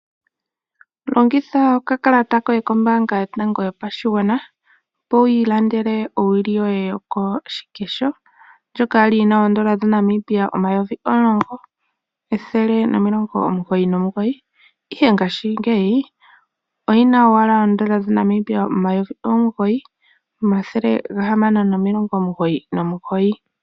Longitha okakalata koye kombaanga yotango yopashigwana, opo wi ilandele owili yoye yokoshikesho ndjoka ya li yi na N$ 10 199, ihe ngaashingeyi oyi na owala N$ 9 699.